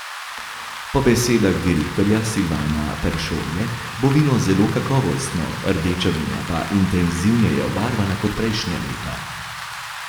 Po besedah direktorja Silvana Peršolje bo vino zelo kakovostno, rdeča vina pa intenzivneje obarvana kot prejšnja leta.